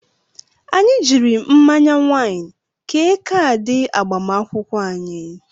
Anyị jiiri mmanya wain kee kaadị agbamakwụkwọ anyị.